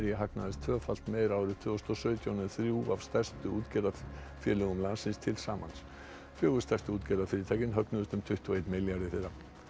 hagnaðist tvöfalt meira árið tvö þúsund og sautján en þrjú af stærstu útgerðarfélögum landsins til samans fjögur stærstu útgerðarfyrirtækin högnuðust um tuttugu og einn milljarð í fyrra